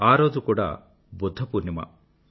ఆ రోజు కూడా బుధ్ధ పూర్ణిమ